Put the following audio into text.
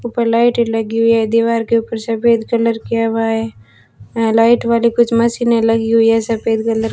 ऊपर लाइटे लगी हुई है दीवार के ऊपर सफेद कलर किया हुआ है यहां लाइट वाली कुछ मशीने लगी हुई है सफेद कलर --